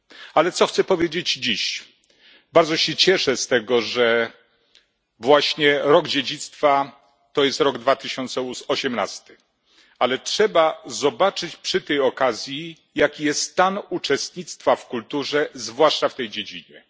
Ale co chcę powiedzieć dziś bardzo się cieszę z tego, że właśnie rok dziedzictwa to jest rok 2018, ale trzeba zobaczyć przy tej okazji, jaki jest stan uczestnictwa w kulturze, zwłaszcza w tej dziedzinie.